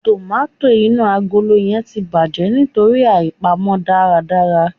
Tòmátò inú agolo yẹn ti bàjẹ́ nítorí àìpamọ́ dáadáa.